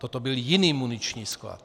Toto byl jiný muniční sklad.